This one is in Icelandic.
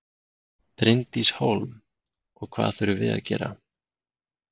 Bryndís Hólm: Og hvað þurfum við að gera?